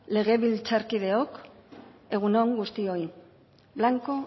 legebiltzarkideok egun on guztioi blanco